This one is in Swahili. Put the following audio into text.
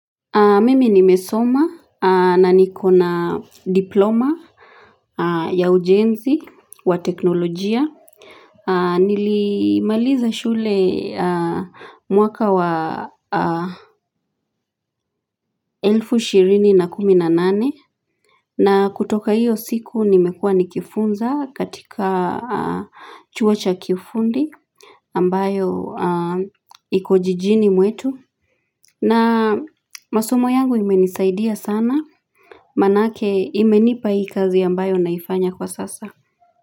Mimi nimesoma na nikona diploma ya ujenzi wa teknolojia. Nilimaliza shule mwaka wa elfu ishirini na kumi na nane. Na kutoka hiyo siku nimekuwa nikifunza katika chuo cha kifundi ambayo iko jijini mwetu. Na masomo yangu imenisaidia sana. Manake imenipa hii kazi ambayo naifanya kwa sasa.